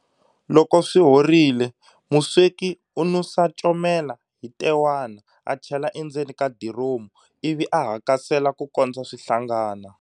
Loko swi horile, musweki u nusa comela hi ntewana a chela endzeni ka diromu, ivi a hakasela ku kondza swi hlangana.